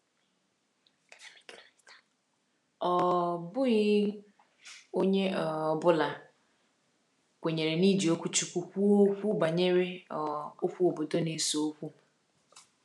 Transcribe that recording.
Ọ um bụghị onye um ọ bụla kwenyere n’iji okwuchukwu kwuo okwu banyere um okwu obodo na-ese okwu.